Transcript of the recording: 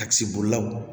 A kisɛ bolilaw